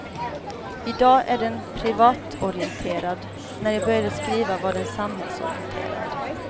I dag är den privatorienterad, när jag började skriva var den samhällsorienterad.